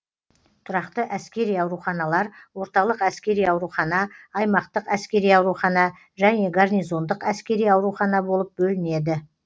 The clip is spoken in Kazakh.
тұрақты әскери ауруханалар орталық әскери аурухана аймақтық әскери аурухана және гарнизондық әскери аурухана болып бөлінеді